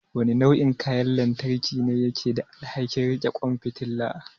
Wane nau'in kayan lantarki ne yake da alhakin riƙe ƙwan fitala?